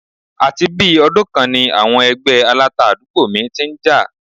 Àti bí i ọdún kan ni àwọn ẹgbẹ́ Aláta àdúgbò mi ti ń jà